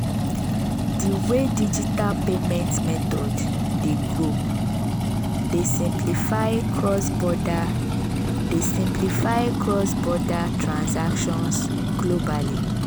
di way digital payment methods dey grow dey simplify cross-border dey simplify cross-border transactions globally.